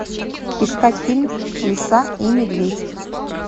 искать фильм лиса и медведь